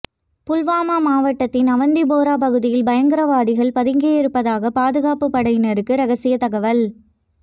புல்வாமா மாவட்டத்தின் அவந்திபோரா பகுதியில் பயங்கரவாதிகள் பதுங்கியிருப்பதாக பாதுகாப்புப் படையினருக்கு ரகசிய தகவல்